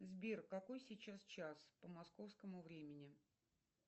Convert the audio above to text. сбер какой сейчас час по московскому времени